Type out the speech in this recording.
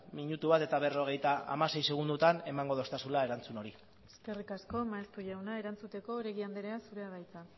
minutu bat eta berrogeita hamasei segundotan emango dostazula erantzun hori eskerrik asko maeztu jauna erantzuteko oregi andrea zurea da hitza